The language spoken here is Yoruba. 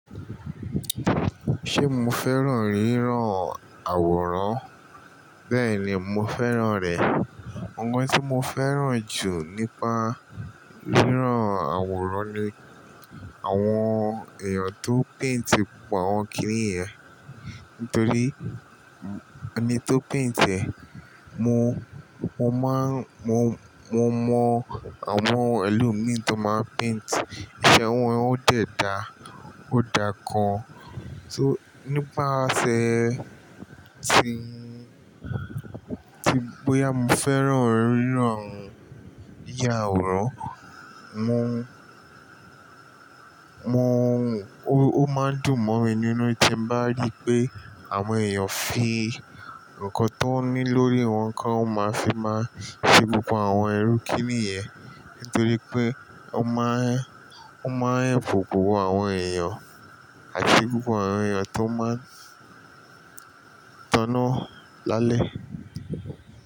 Ṣé mo fẹ́ràn rírán àwòrán? Bẹ́ẹ̀ni, mo fẹ́ràn rẹ̀. Ọ̀un tí mo fẹ́ràn jù nípa rírán àwòrán ni àwọn èèyàn tó paint gbogbo àwọn kiní yẹn. Nítorí ẹni tó paint ẹ, mo, mo máa ń, mo, mo mọ àwọn ẹlòmíràn tó máa paint, ìṣe wọn ó dẹ̀ da, ó da gan. So nípa aṣẹ tí, tí bóyá mo fẹ́ràn rírán ìyá àwòrán, mo, mo, ó, ó máa ń dùn mọ́ mi nínú tí mo bá ríi pé àwọn èèyàn fi nǹkan tó ní lórí wọn kan, ó máa fi máa fi gbogbo àwọn ẹrú kiní yẹn. Nítorí pé ó máa ń, ó máa ń help òkowoo àwọn èèyàn àti gbogbo àwọn èèyàn tó máa ń tanná lálẹ́